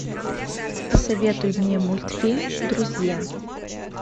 посоветуй мне мультфильм друзья